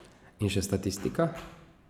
In še statistika?